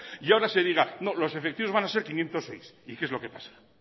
y ahora se diga no los efectivos van a ser quinientos seis y qué es lo que pasa